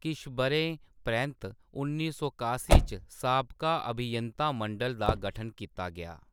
किश ब'रें परैंत्त, उन्नी सौ कासी च, साबका अभियंता मंडल दा गठन कीता गेआ।